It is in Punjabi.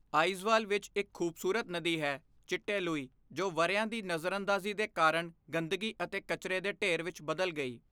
ਆਈਜਵਾਲ ਵਿੱਚ ਇੱਕ ਖੂਬਸੂਰਤ ਨਦੀ ਹੈ ਚਿੱਟੇਲੂਈ ਜੋ ਵਰ੍ਹਿਆਂ ਦੀ ਨਜ਼ਰਅੰਦਾਜ਼ੀ ਦੇ ਕਾਰਣ ਗੰਦਗੀ ਅਤੇ ਕਚਰੇ ਦੇ ਢੇਰ ਵਿੱਚ ਬਦਲ ਗਈ।